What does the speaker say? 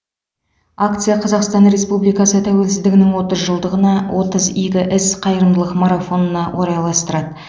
акция қазақстан республикасы тәуелсіздігінің отыз жылдығына отыз игі іс қайырымдылық марафонына орайластырылды